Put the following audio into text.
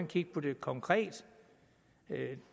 kigge på det konkret